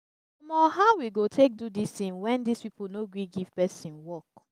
omo! how we we go take do dis thing wen dis people no gree give person work